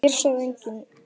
Og hér sagði enginn